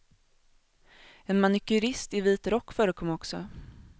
En manikyrist i vit rock förekom också.